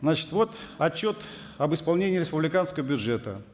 значит вот отчет об исполнении республиканского бюджета